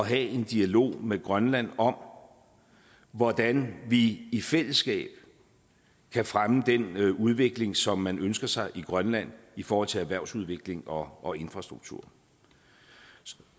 have en dialog med grønland om hvordan vi i fællesskab kan fremme den udvikling som man ønsker sig i grønland i forhold til erhvervsudvikling og og infrastruktur